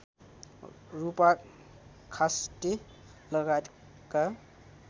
रूपा खास्टे लगायतका